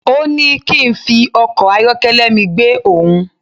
Òní kín fi ọkọ̀ ayọ́kẹ́lẹ́ mi gbe òhun